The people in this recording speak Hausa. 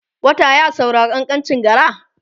wata ya saurari kankancin gara?